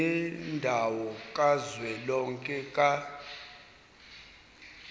yendawo kazwelonke ka